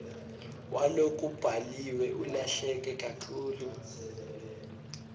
walokubhaliwe ulahleke kakhulu